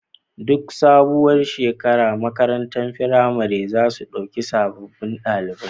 Duk sabuwar shekara makarantar firamare zasu ɗauki sababun ɗalibai